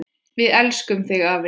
Við elskum þig afi!